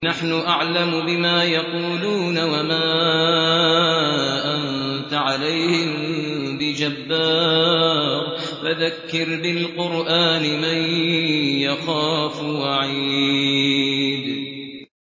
نَّحْنُ أَعْلَمُ بِمَا يَقُولُونَ ۖ وَمَا أَنتَ عَلَيْهِم بِجَبَّارٍ ۖ فَذَكِّرْ بِالْقُرْآنِ مَن يَخَافُ وَعِيدِ